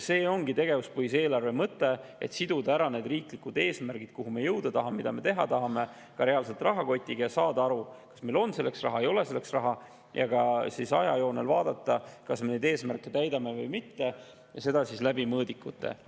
See ongi tegevuspõhise eelarve mõte: siduda riiklikud eesmärgid – kuhu me jõuda tahame, mida me teha tahame – reaalselt rahakotiga ja saada aru, kas meil on selleks raha või ei ole, ja ka ajajoonel vaadata, kas me neid eesmärke täidame või mitte, seda mõõdikute abil.